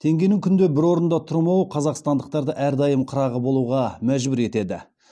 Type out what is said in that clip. теңгенің күнде бір орнында тұрмауы қазақстандықтарды әрдайым қырағы болуға мәжбүр етеді